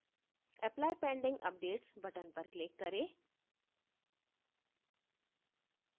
apply pending updates button पर click करें